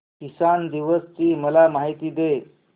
किसान दिवस ची मला माहिती दे